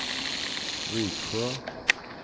Viksjö